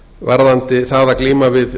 varðandi það að glíma við